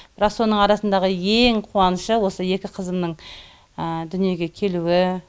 бірақ соның арасындағы ең қуанышы осы екі қызымның дүниеге келуі